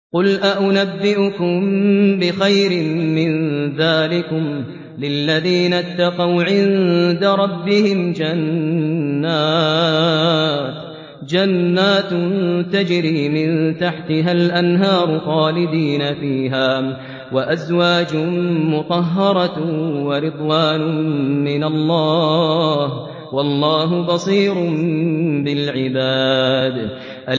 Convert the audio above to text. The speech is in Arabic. ۞ قُلْ أَؤُنَبِّئُكُم بِخَيْرٍ مِّن ذَٰلِكُمْ ۚ لِلَّذِينَ اتَّقَوْا عِندَ رَبِّهِمْ جَنَّاتٌ تَجْرِي مِن تَحْتِهَا الْأَنْهَارُ خَالِدِينَ فِيهَا وَأَزْوَاجٌ مُّطَهَّرَةٌ وَرِضْوَانٌ مِّنَ اللَّهِ ۗ وَاللَّهُ بَصِيرٌ بِالْعِبَادِ